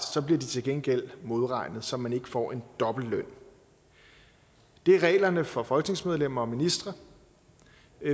bliver de til gengæld modregnet så man ikke får en dobbelt løn det er reglerne for folketingsmedlemmer og ministre